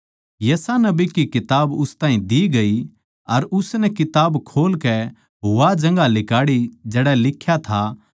यशायाह नबी की किताब उस ताहीं दी गई अर उसनै किताब खोल कै वा जगहां लिकाड़ी जड़ै लिख्या था